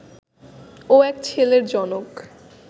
ও এক ছেলের জনক